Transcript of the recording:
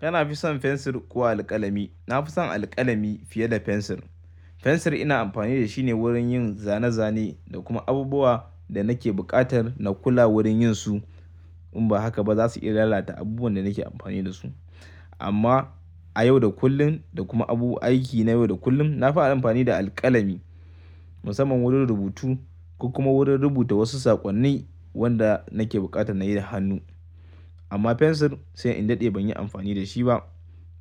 Kana fi son pencil ko alkalami? Na fi son alkalami fiye da pencil. Pencil ina amfani da shi ne wurin yin zane-zane da kuma abubuwa da nake buƙatar na kula wurin yin su. In ba haka ba za su iya lalata abubuwan da nake amfani da su. Amma a yau da kullum da kuma abubuwan aiki na yau da kullum, na fi amfani da alkalami musamman wurin rubutu ko kuma wurin rubuta wasu saƙonni wanda nake buƙatar na yi da hannu. Amma pencil sai in daɗe ban yi amfani da shi ba.